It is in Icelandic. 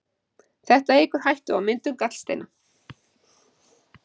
Þetta eykur hættu á myndun gallsteina.